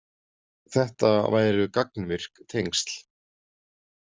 Þetta væru gagnvirk tengsl.